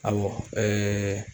Awɔ ɛɛ